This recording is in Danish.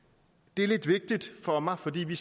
det er lidt vigtigt for mig fordi vi